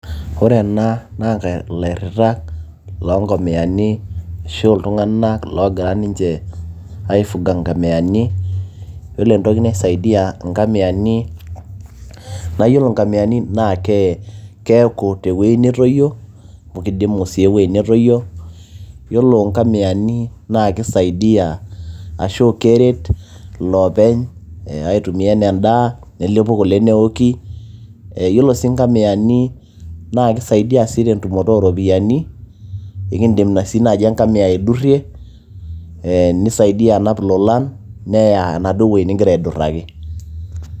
ore ena naa ilairritak loonkomiyani ashu iltung'anak loogira ninche aifuga nkamiyani yiolo entoki naisaidia nkamiyani naa yiolo nkamiyani naa keeku tewueji netoyio amu kidimu sii ewueji netoyio yiolo nkamiyani naa kisaidiyia ashu keret iloopeny aitumiyia enaa endaa nelepu kule neoki ee yiolo sii nkamiyani naa kisaidia sii tentumoto ooropiyiani ekindim sii naaji enkamiya aidurrie nisaidia anap ilolan neya enaduo wueji ningira aidurraki.